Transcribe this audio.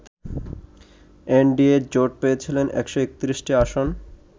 NDA জোট পেয়েছিল ১৩১টি আসন